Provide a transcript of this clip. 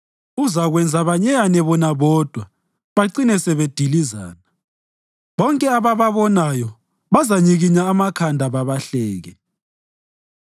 Uzakwenza banyeyane bona bodwa bacine sebedilizana; bonke abababonayo bazanyikinya amakhanda babahleke.